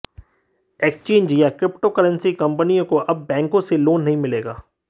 exchanges या cryptocurrency कंपनियों को अब बैंकों से लोन नहीं मिलेगा